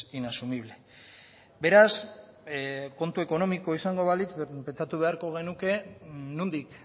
inasumible beraz kontu ekonomikoa izango balitz pentsatu beharko genuke nondik